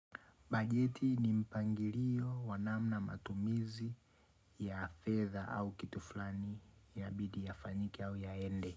Bajeti ni mpangilio wa namna matumizi ya fedha au kitu fulani yabidi yafanyiki au yaende.